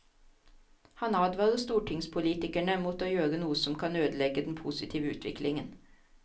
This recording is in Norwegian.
Han advarer stortingspolitikerne mot å gjøre noe som kan ødelegge den positive utviklingen.